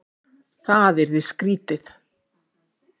Það yrði skrýtið!